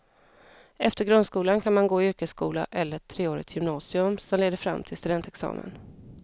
Efter grundskolan kan man gå i yrkesskola eller treårigt gymnasium som leder framtill studentexamen.